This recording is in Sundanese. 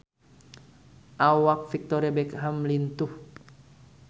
Awak Victoria Beckham lintuh